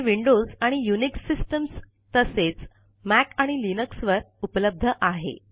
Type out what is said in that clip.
हे विन्डोज़ आणि Unix systems तसेच मॉक आणि लिनक्स वर उपलब्ध आहे